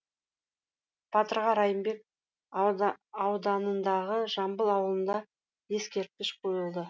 батырға райымбек ауданындағы жамбыл ауылында ескерткіш қойылды